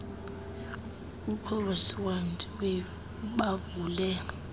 ucobus dowry bavule